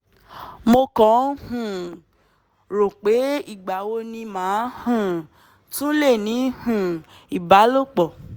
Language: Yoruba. mo kàn ń um rò ó pé ìgbà wo ni màá um tún lè ní um ìbálòpọ̀